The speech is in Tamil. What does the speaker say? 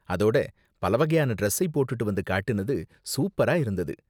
அதோட பலவகையான டிரஸ்ஸை போட்டுட்டு வந்து காட்டுனது சூப்பரா இருந்தது.